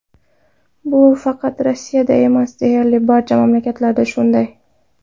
Bu faqat Rossiyada emas, deyarli barcha mamlakatlarda shunday.